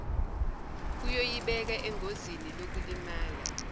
kuyoyibeka engozini yokulimala